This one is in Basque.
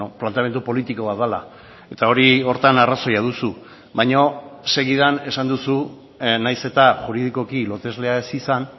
planteamendu politiko bat dela eta hori horretan arrazoia duzu baina segidan esan duzun nahiz eta juridikoki loteslea ez izan